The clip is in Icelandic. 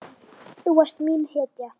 Þú varst mín hetja.